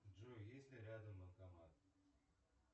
джой есть ли рядом банкомат